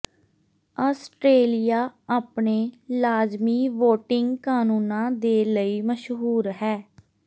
Australia ਆਪਣੇ ਲਾਜ਼ਮੀ voting ਕਾਨੂੰਨਾਂ ਦੇ ਲਈ ਮਸ਼ਹੂਰ ਹੈ